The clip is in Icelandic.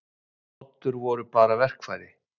Oddur voru bara verkfæri.